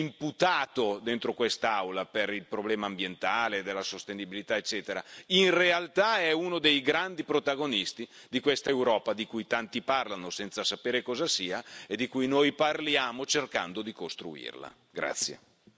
Il sistema dei trasporti, che spesso è imputato dentro quest'Aula per il problema ambientale e della sostenibilità, eccetera, in realtà è uno dei grandi protagonisti di questa Europa, di cui tanti parlano senza sapere cosa sia e di cui noi parliamo cercando di costruirla.